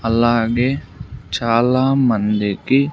అలాగే చాలా మందికి.